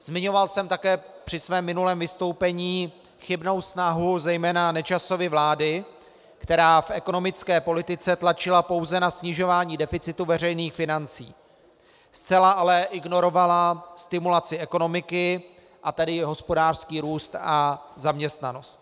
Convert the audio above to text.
Zmiňoval jsem také při svém minulém vystoupení chybnou snahu zejména Nečasovy vlády, která v ekonomické politice tlačila pouze na snižování deficitu veřejných financí, zcela ale ignorovala stimulaci ekonomiky, a tedy i hospodářský růst a zaměstnanost.